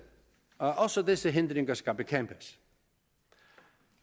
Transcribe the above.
også disse hindringer skal bekæmpes